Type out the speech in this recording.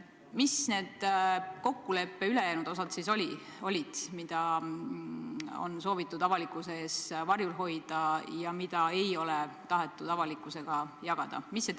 Mis olid need kokkuleppe ülejäänud punktid, mida on soovitud avalikkuse eest varjul hoida, mida ei ole tahetud avalikkusega jagada?